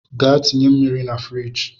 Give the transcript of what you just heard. Gaa tinye mmiri na firigi!